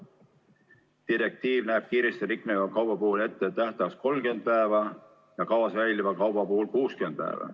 Direktiiv näeb kiiresti rikneva kauba puhul ette tähtajaks 30 päeva ja kaua säiliva kauba puhul 60 päeva.